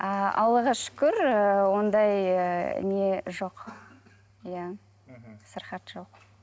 а аллаға шүкір ы ондай ы не жоқ иә мхм сырқат жоқ